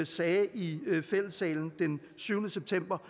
sagde i fællessalen den syvende september